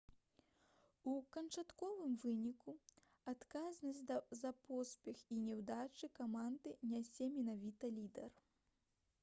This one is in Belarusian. у канчатковым выніку адказнасць за поспех і няўдачы каманды нясе менавіта лідар